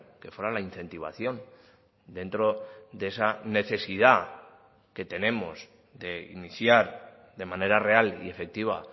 que fuera la incentivación dentro de esa necesidad que tenemos de iniciar de manera real y efectiva